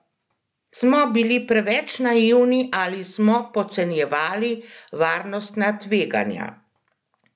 Smo bili preveč naivni ali smo podcenjevali varnostna tveganja?